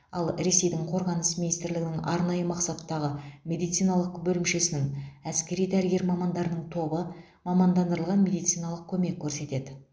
ал ресейдің қорғаныс министрлігінің арнайы мақсаттағы медициналық бөлімшесінің әскери дәрігер мамандарының тобы мамандандырылған медициналық көмек көрсетеді